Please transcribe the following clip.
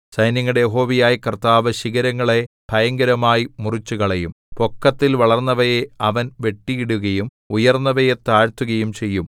സൈന്യങ്ങളുടെ യഹോവയായ കർത്താവ് ശിഖരങ്ങളെ ഭയങ്കരമായി മുറിച്ചുകളയും പൊക്കത്തിൽ വളർന്നവയെ അവൻ വെട്ടിയിടുകയും ഉയർന്നവയെ താഴ്ത്തുകയും ചെയ്യും